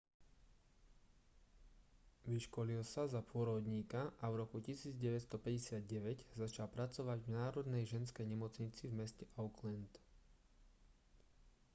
vyškolil sa za pôrodníka a v roku 1959 začal pracovať v národnej ženskej nemocnici v meste auckland